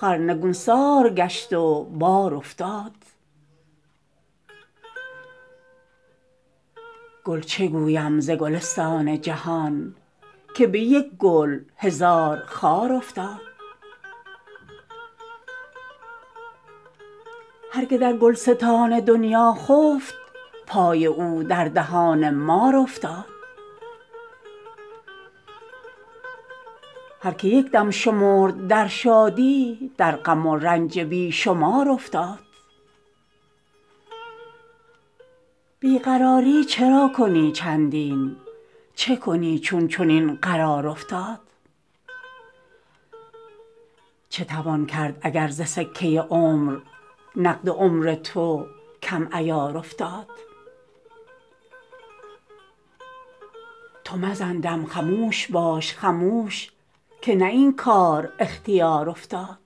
خر نگونسار گشت و بار افتاد گل چگویم ز گلستان جهان که به یک گل هزار خار افتاد هر که در گلستان دنیا خفت پای او در دهان مار افتاد هر که یک دم شمرد در شادی در غم و رنج بی شمار افتاد بی قراری چرا کنی چندین چه کنی چون چنین قرار افتاد چه توان کرد اگر ز سکه عمر نقد عمر تو کم عیار افتاد تو مزن دم خموش باش خموش که نه این کار اختیار افتاد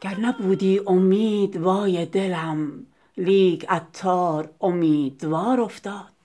گر نبودی امید وای دلم لیک عطار امیدوار افتاد